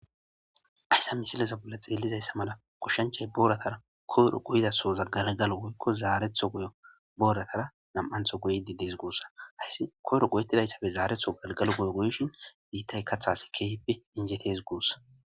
Hayssa misilaza bolla xeellizayssa mala kushshanchay booratara koyro guyidaso zaggargalo goykko zaaretho yobooratara nami'antho guyidi dees guussa. Hayssi koyro goyettidayssappe zaareththo galgalo goyo goyishin biittay kaththas keehippe injetes guussa.